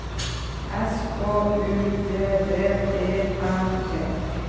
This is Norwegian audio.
S K U D D E N E